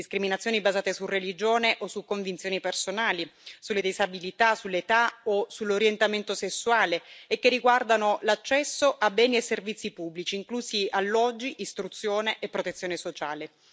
Discriminazioni basate su religione o su convinzioni personali, sulle disabilità, sull'età o sull'orientamento sessuale e che riguardano l'accesso a beni e servizi pubblici, inclusi alloggi, istruzione e protezione sociale.